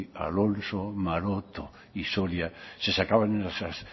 alonso maroto y soria se sacaban esas